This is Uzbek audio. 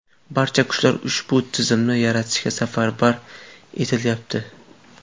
Barcha kuchlar ushbu tizimni yaratishga safarbar etilyapti.